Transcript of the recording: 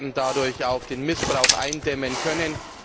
Wir werden dadurch auch den Missbrauch eindämmen können.